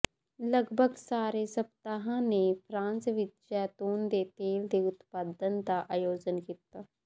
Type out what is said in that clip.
ਲਗਭਗ ਸਾਰੇ ਸਪਤਾਹਆਂ ਨੇ ਫਰਾਂਸ ਵਿੱਚ ਜੈਤੂਨ ਦੇ ਤੇਲ ਦੇ ਉਤਪਾਦਨ ਦਾ ਆਯੋਜਨ ਕੀਤਾ